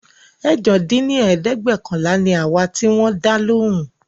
ẹ̀jọ dín ní ẹ̀ẹ́dẹ́gbẹ́ọ̀kànlá ni àwa tí wón dá lóhùn